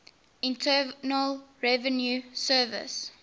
internal revenue service